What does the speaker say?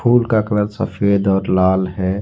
फूल का कलर सफेद और लाल है।